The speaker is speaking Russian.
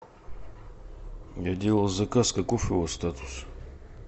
я делал заказ каков его статус